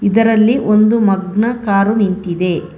ಇದರಲ್ಲಿ ಒಂದು ಮಗ್ನ ಕಾರು ನಿಂತಿದೆ.